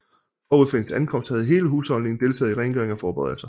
Forud for hendes ankomst havde hele husholdningen deltaget i rengøring og forberedelser